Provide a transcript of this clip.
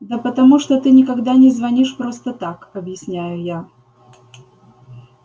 да потому что ты никогда не звонишь просто так объясняю я